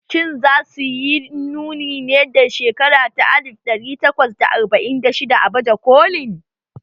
Shin za su yi nuni ne daga shekara ta alif ɗari takwas da arba'in da shidda a baje kolin?